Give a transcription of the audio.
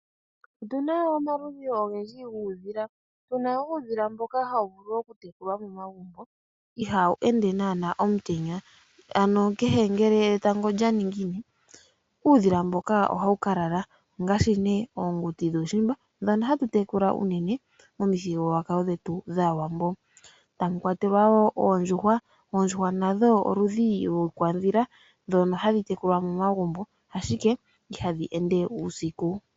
Otuna omaludhi ogendji guudhila. Otuna uudhila mboka hawu vulu oku tekulwa momagumbo, ihawu ende nana uusiku, ano ngele etango olya ningine uudhila mbuka ohawu ka lala ngashi ne oonduti dhuushimba dhoka hatu tekula uunene momuthigululwakalo gwetu gwaawambo, tamu kwatelwa ne oondjuhwa nadho oludhi lwiikwadhila mbyoka hayi tekulwa momagumbo, ashika ihadhi ende uusiku.